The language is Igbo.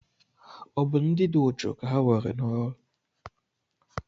Ọ bụ ndị dị uchu ka nwere n'oru